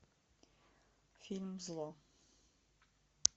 фильм зло